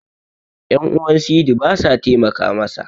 yan'uwan sidi ba sa taimaka masa